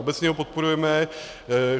Obecně ho podporujeme.